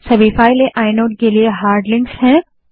सभी files inode के लिए हार्ड लिंक्स हैं